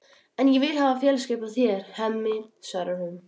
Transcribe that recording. En ég vil hafa félagsskap af þér, Hemmi, svarar hún.